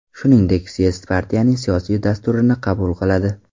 Shuningdek, syezd partiyaning siyosiy dasturini qabul qiladi.